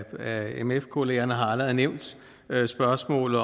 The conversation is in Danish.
af mf kollegerne har allerede nævnt spørgsmålet